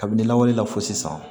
Kabini ne lawale la fo sisan